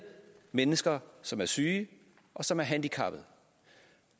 mennesker som er syge og som er handicappede